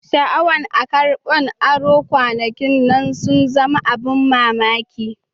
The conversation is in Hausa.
Shaawan a karban aro kwanakin nan sun zama abun mamaki.